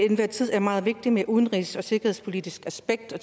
er meget vigtigt med det udenrigs og sikkerhedspolitiske aspekt og